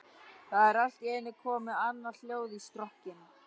Það er allt í einu komið annað hljóð í strokkinn.